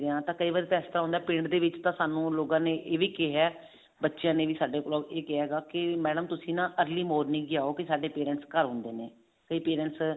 ਆ ਤਾਂ ਕਈ ਵਾਰ ਤਾਂ ਇਸ ਤਰ੍ਹਾਂ ਹੁੰਦਾ ਪਿੰਡ ਦੇ ਵਿੱਚ ਤਾਂ ਲੋਕਾਂ ਨੇ ਸਾਨੂੰ ਇਹ ਵੀ ਕਿਹਾ ਬੱਚਿਆਂ ਨੇ ਵੀ ਸਾਡੇ ਕੋਲ ਇਹ ਕਿਹਾ ਵੀ madam ਤੁਸੀਂ ਨਾ early morning ਹੀ ਆਓ ਕੇ ਸਾਡੇ parents ਘਰ ਹੁੰਦੇ ਨੇ ਕਈ parents